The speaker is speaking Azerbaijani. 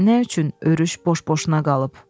Nə üçün örüş boş-boşuna qalıb?